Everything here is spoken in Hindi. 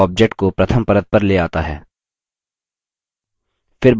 bring to front object को प्रथम परत पर ले आता है